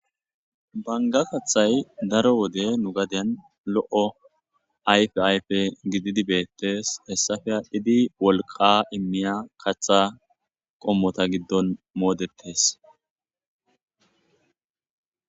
banga kathay daro wode nu gaden lo7o ayf ayfe gididibeettes hessafeya idi wolqa immiya katha qommota giddon moodettes